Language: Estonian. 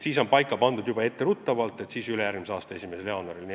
Selliseks puhuks on siis etteruttavalt olemas võimalus jõustada seadus ülejärgmise aasta 1. jaanuaril.